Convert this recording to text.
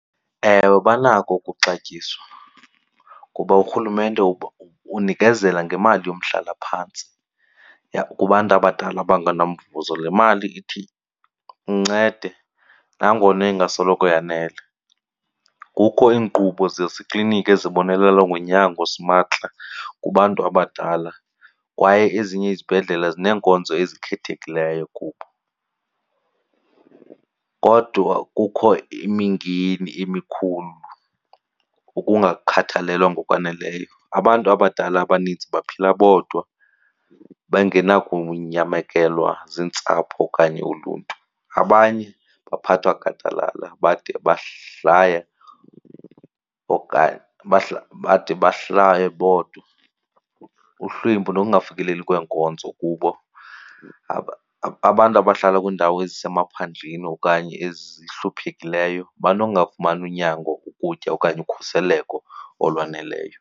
Ewe, banako ukuxatyiswa kuba urhulumente unikezela ngemali yomhlalaphantsi kubantu abadala abangena mvuzo, le mali ithi incede nangona ingasoloko yanele. Kukho iinkqubo zezi kliniki ezibonelela ngonyango simahla kubantu abadala kwaye ezinye izibhedlele zineenkonzo ezikhethekileyo kubo. Kodwa kukho imingeni emikhulu yokungakhathalelwa ngokwaneleyo. Abantu abadala abaninzi baphila bodwa bengenakunyamekelwa ziintsapho okanye uluntu, abanye baphathwa gadalala bade bahlale okanye bade bahlale bodwa uhlwempu nokungafikeleli kweenkonzo kubo. Abantu abahlala kwiindawo ezisemaphandleni okanye ezihluphekileyo banongafumani unyango, ukutya okanye ukhuseleko olwaneleyo.